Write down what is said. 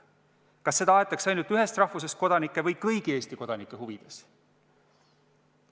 Kas seda aetakse ainult ühest rahvusest kodanike või kõigi Eesti kodanike huvides?